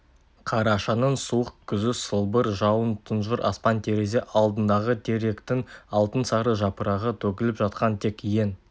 қарашаның суық күзі сылбыр жауын тұнжыр аспан терезе алдындағы теректің алтынсары жапырағы төгіліп жатқан тек ең